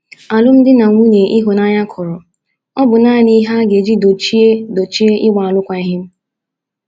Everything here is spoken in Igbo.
Alụmdi na nwunye ịhụnanya kọrọ ọ̀ bụ nanị ihe a ga - eji dochie dochie ịgba alụkwaghịm?